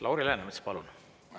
Lauri Läänemets, palun!